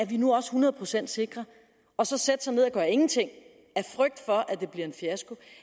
vi nu er hundrede procent sikre og så sætte sig ned og gøre ingenting af frygt for at det bliver en fiasko